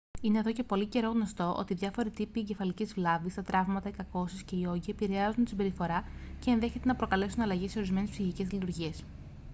είναι εδώ και πολύ καιρό γνωστό ότι διάφοροι τύποι εγκεφαλικής βλάβης τα τραύματα οι κακώσεις και οι όγκοι επηρεάζουν τη συμπεριφορά και ενδέχεται να προκαλέσουν αλλαγές σε ορισμένες ψυχικές λειτουργίες